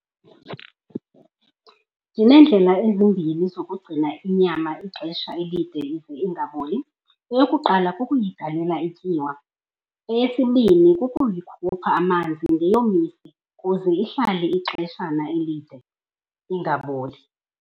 Ndineendlela ezimbini zokugcina inyama ixesha elide ize ingaboli. Eyokuqala, kukuyigalela ityiwa. Eyesibini, kukuyikhupha amanzi ndiyomise kuze ihlale ixeshana elide ingaboli.